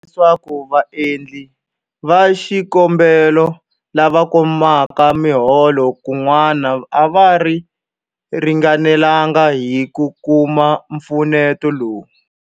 Swa tiveka leswaku vaendli va xikombelo lava kumaka miholo kun'wana a va ringanelanga hi ku kuma mpfuneto lowu.